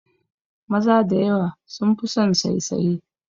Maza da yawa sun fi son saisaye